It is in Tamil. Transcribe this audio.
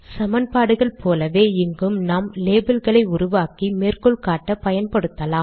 சமன்பாடுகள் போலவே இங்கும் நாம் லேபல் களை உருவாக்கி மேற்கோள் காட்ட பயன்படுத்தலாம்